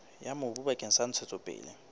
ya mobu bakeng sa ntshetsopele